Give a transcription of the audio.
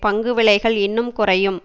பங்கு விலைகள் இன்னும் குறையும்